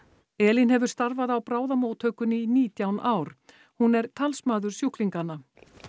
Elín hefur starfað á bráðamóttökunni í nítján ár hún er talsmaður sjúklinganna